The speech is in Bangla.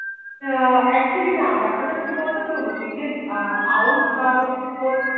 আহ Actually না বেপার তা কি বলতো আমি তোকে বলছি আউধ বা তোর